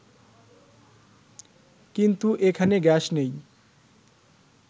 কিন্তু এখানে গ্যাস নেই